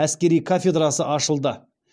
әскери кафедрасы ашылды